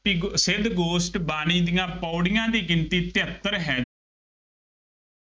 ਸਿੱਧ ਗੋਸ਼ਟ ਬਾਣੀ ਦੀਆਂ ਪੌੜੀਆਂ ਦੀ ਗਿਣਤੀ ਤਹੇਤਰ ਹੈ।